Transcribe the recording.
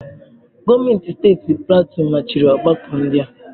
Gọọmenti steeti Platue machiri ọgbakọ ndị a.